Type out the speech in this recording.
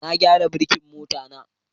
Na gyara birkin mota